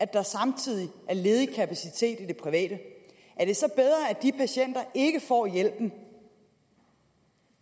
der samtidig er ledig kapacitet i det private er det så bedre at de patienter ikke får hjælpen